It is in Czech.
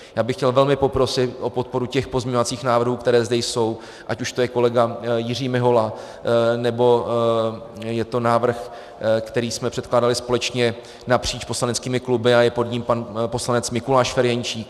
Já bych chtěl velmi poprosit o podporu těch pozměňovacích návrhů, které zde jsou, ať už to je kolega Jiří Mihola, nebo je to návrh, který jsme předkládali společně napříč poslaneckými kluby a je pod ním pan poslanec Mikuláš Ferjenčík.